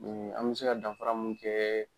An bɛ se ka dafara mun kɛ